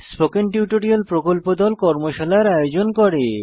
spoken tutorial প্রকল্প দল কর্মশালার আয়োজন করে